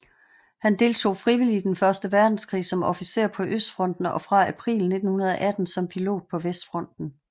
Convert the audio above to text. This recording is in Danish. Han deltog frivilligt i Den første verdenskrig som officer på østfronten og fra april 1918 som pilot på vestfronten